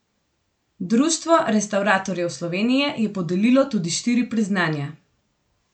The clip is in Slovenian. Društvo restavratorjev Slovenije je podelilo tudi štiri priznanja.